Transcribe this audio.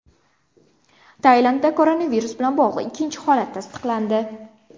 Tailandda koronavirus bilan bog‘liq ikkinchi holat tasdiqlandi.